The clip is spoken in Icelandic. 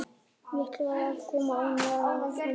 Mikilvægt að koma óánægjunni á framfæri